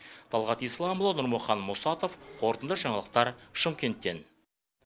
талғат исламұлы нұрмақан мұсатов қорытынды жаңалықтар шымкенттен